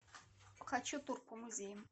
хочу тур по музеям